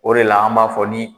O de la an b'a fɔ ni